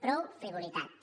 prou frivolitats